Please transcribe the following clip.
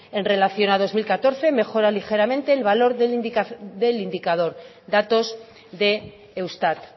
ius en relación a dos mil catorce mejora ligeramente el valor del indicador datos de eustat